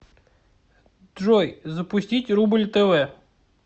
джой запустить рубль тв